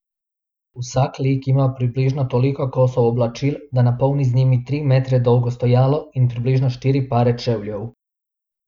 Vsak lik ima približno toliko kosov oblačil, da napolni z njimi tri metre dolgo stojalo, in približno štiri pare čevljev.